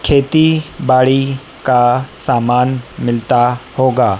खेती बाड़ी का सामान मिलता होगा।